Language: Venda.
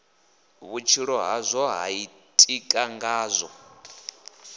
vhutshilo hazwo ha ḓitika ngazwo